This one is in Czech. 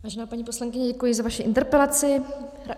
Vážená paní poslankyně, děkuji za vaši interpelaci.